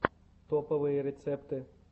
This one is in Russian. топовые рецепты